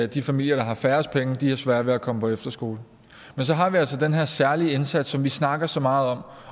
de familier der har færrest penge har sværere ved at komme på efterskole men så har vi altså den her særlige indsats som vi snakker så meget